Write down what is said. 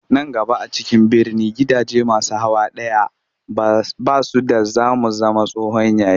Nan gaba a cikin birni gidaje masu hawa ɗaya ba su da za mu zama tsohon yayi